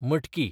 मटकी